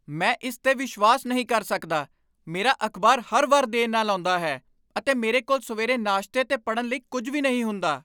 ਮੈਂ ਇਸ 'ਤੇ ਵਿਸ਼ਵਾਸ ਨਹੀਂ ਕਰ ਸਕਦਾ! ਮੇਰਾ ਅਖ਼ਬਾਰ ਹਰ ਵਾਰ ਦੇਰ ਨਾਲ ਆਉਂਦਾ ਹੈ, ਅਤੇ ਮੇਰੇ ਕੋਲ ਸਵੇਰੇ ਨਾਸ਼ਤੇ ਤੇ ਪੜ੍ਹਨ ਲਈ ਕੁਝ ਵੀ ਨਹੀਂ ਹੁੰਦਾ।